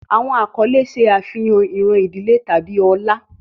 Awọn akọle ṣe afihan iran idile tabi ọlá